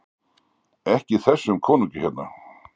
EKKI ÞESSUM KONUNGI HÉRNA!